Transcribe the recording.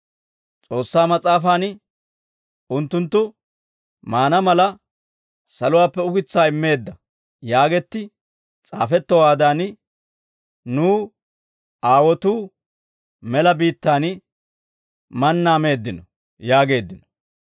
S'oossaa mas'aafaan, ‹Unttunttu mannaa mala saluwaappe ukitsaa immeedda› yaagetti s'aafettowaadan, nu aawotuu mela biittaan mannaa meeddino» yaageeddino.